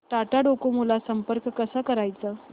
Tata Docomo ला संपर्क कसा करायचा